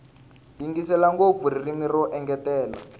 yingisela ngopfu ririmi ro engetela